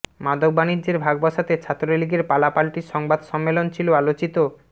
মাদক বাণিজ্যের ভাগ বসাতে ছাত্রলীগের পালাপাল্টি সংবাদ সম্মেলন ছিল আলোচিত